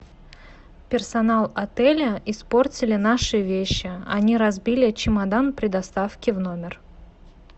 персонал отеля испортили наши вещи они разбили чемодан при доставке в номер